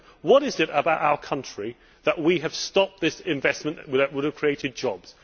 They said, what is it about our country that we have stopped this investment that would have created jobs?'